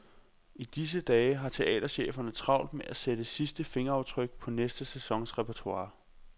I disse dage har teatercheferne travlt med at sætte sidste fingeraftryk på næste sæsons repertoire.